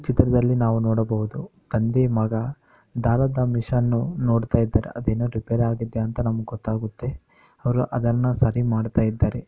ಚಿತ್ರದಲ್ಲಿ ನಾವು ನೋಡಬಹುದು ತಂದೆ ಮಗ ದಾರದ ಮಿಶನ್ನು ನೋಡ್ತಾಯಿದರೆ. ಅದೇನೊ ರಿಪೇರಿ ಆಗಿದೆ ಅಂತ ನಮುಗ್ ಗೊತ್ತಾಗುತ್ತೆ. ಅವ್ರು ಅದನ್ನ ಸರಿ ಮಾಡ್ತಾಇದ್ದಾರೆ.